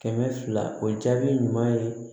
Kɛmɛ fila o jaabi ɲuman ye